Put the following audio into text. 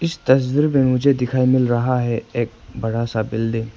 इस तस्वीर में मुझे दिखने मिल रहा है एक बड़ा सा बिल्डिंग ।